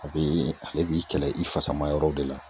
A bi ale b'i kɛlɛ i fasa ma yɔrɔ de la.